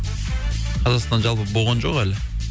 қазақстан жалпы болған жоқ әлі